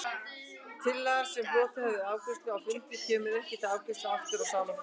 Tillaga, sem hlotið hefur afgreiðslu á fundi, kemur ekki til afgreiðslu aftur á sama fundi.